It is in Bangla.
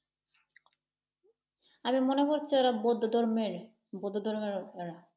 আমি মনে করছি ওরা বৌদ্ধ ধর্মেরই, বৌদ্ধ ধর্মের ওরা।